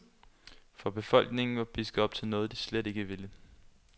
For befolkningen var pisket op til noget, de slet ikke ville.